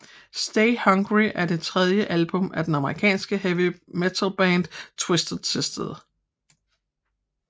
Stay Hungry er det tredje album af det amerikanske heavy metalband Twisted Sister